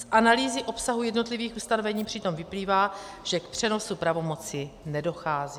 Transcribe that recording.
Z analýzy obsahu jednotlivých ustanovení přitom vyplývá, že k přenosu pravomoci nedochází.